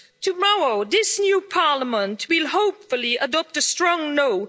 tomorrow this new Parliament will hopefully adopt a strong no'.